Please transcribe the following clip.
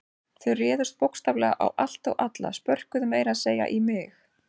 Þau réðust bókstaflega á allt og alla, spörkuðu meira að segja í mig.